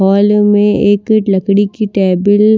hall में एक लकड़ी की टेबल --